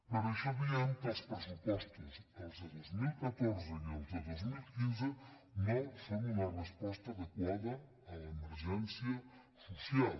per això diem que els pressupostos els de dos mil catorze i els de dos mil quinze no són una resposta adequada a l’emergèn·cia social